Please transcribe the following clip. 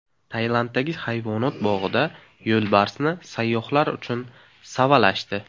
Tailanddagi hayvonot bog‘ida yo‘lbarsni sayyohlar uchun savalashdi .